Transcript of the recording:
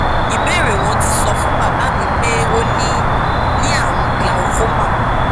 ìbéèrè wọn ti sọ fún bàbá mi pé ó ní ní àrùn glaucoma